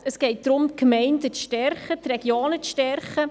Es geht darum, die Gemeinden und die Regionen zu stärken.